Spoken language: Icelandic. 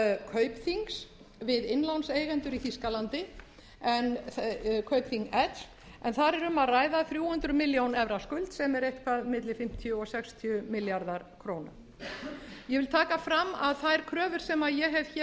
kaupþings l við innlánseigendur í þýskalandi en þar er um að ræða þrjú hundruð milljóna evra skuld sem er eitthvað milli fimmtíu og fimmtíu milljarðar króna ég vil taka fram að þær kröfur sem ég hef